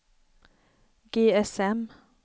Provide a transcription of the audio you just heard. GSM